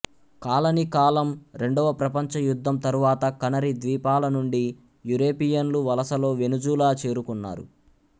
colony కాలం రెండవ ప్రపంచ యుద్ధం తరువాత కనరీ ద్వీపాల నుండి యురేపియన్లు వలసలో వెనుజులా చేరుకున్నారు